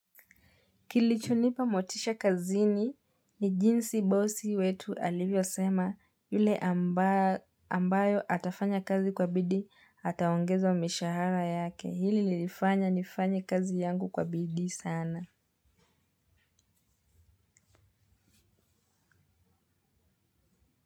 Kilichonipa motisha kazini nijinsi bosi wetu alivyo sema yule ambayo atafanya kazi kwa bidii ataongezwa mishahara yake. Hili lilifanya nifanye kazi yangu kwa bidii sana.